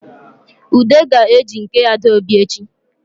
Ude ga-eji nke Adaobi echi